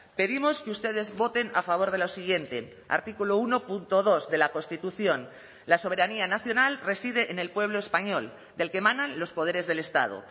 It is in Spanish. pedimos que ustedes voten a favor de lo siguiente artículo uno punto dos de la constitución la soberanía nacional reside en el pueblo español del que emanan los poderes del estado